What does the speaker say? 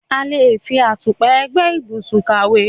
A le ń fi àtùpà ẹ̀gbẹ́ ìbùsùn kàwé.